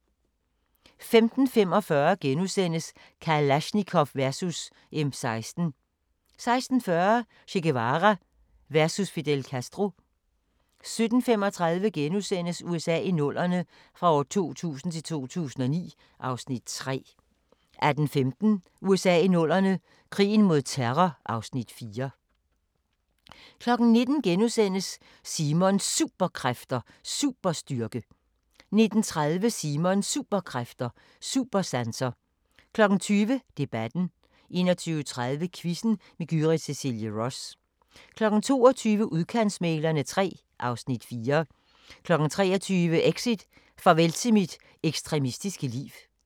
15:45: Kalashnikov versus M16 * 16:40: Che Guevara versus Fidel Castro 17:35: USA i 00'erne – fra 2000 til 2009 (Afs. 3)* 18:15: USA i 00'erne – krigen mod terror (Afs. 4) 19:00: Simons Superkræfter: Superstyrke * 19:30: Simons Superkræfter: Supersanser 20:00: Debatten 21:30: Quizzen med Gyrith Cecilie Ross 22:00: Udkantsmæglerne III (Afs. 4) 23:00: Exit: Farvel til mit ekstremistiske liv